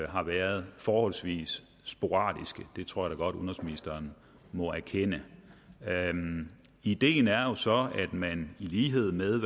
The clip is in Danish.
har været forholdsvis sporadiske det tror jeg udenrigsministeren må erkende ideen er jo så at man i lighed med